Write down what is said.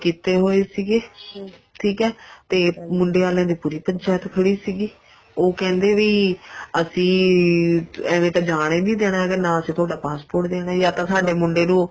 ਕੀਤੇ ਹੋਏ ਸੀਗੇ ਠੀਕ ਏ ਤੇ ਮੁੰਡਿਆਂ ਆਲੀਆਂ ਦੀ ਪੂਰੀ ਪੰਚਾਇਤ ਖੜੀ ਸੀਗੀ ਉਹ ਕਹਿੰਦੇ ਵੀ ਅਸੀਂ ਐਵੇ ਤਾਂ ਜਾਣ ਹੀ ਨਹੀਂ ਦੇਣਾ ਹੈਗਾ ਨਾ ਅਸੀਂ ਤੁਹਾਡਾ passport ਦੇਣਾ ਜਾਂ ਤਾਂ ਸਾਡੇ ਮੁੰਡੇ ਨੂੰ